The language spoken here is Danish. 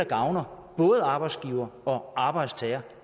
gavner arbejdsgiver og arbejdstager